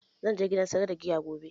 Zan je gidan siyar da giya gobe